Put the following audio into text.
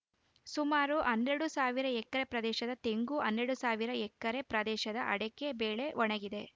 ಸುಮಾರು ಹನ್ನೆಡು ಸಾವಿರ ಎಕರೆ ಪ್ರದೇಶದ ತೆಂಗು ಹನ್ನೆಡು ಸಾವಿರ ಎಕರೆ ಪ್ರದೇಶದ ಅಡಕೆ ಬೆಳೆ ಒಣಗಿದೆ